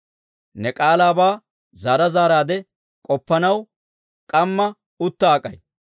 Ne k'aalaabaa zaara zaaraadde k'oppanaw, k'amma utta ak'ay.